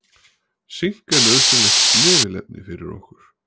Sink er nauðsynlegt snefilefni fyrir okkur.